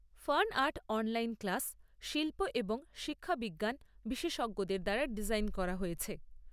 Fan art online class শিল্প এবং শিক্ষাবিজ্ঞান বিশেষজ্ঞদের দ্বারা ডিজাইন করা হয়েছে।